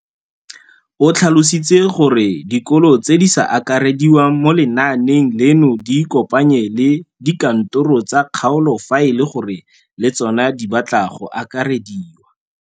O tlhalositse gore dikolo tse di sa akarediwang mo lenaaneng leno di ikopanye le dikantoro tsa kgaolo fa e le gore le tsona di batla go akarediwa.